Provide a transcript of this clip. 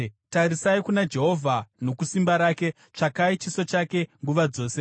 Tarisai kuna Jehovha nokusimba rake; tsvakai chiso chake nguva dzose.